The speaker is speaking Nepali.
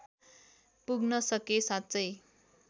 पुग्न सके साँच्चै